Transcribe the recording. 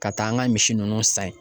Ka taa an ka misi nunnu san yen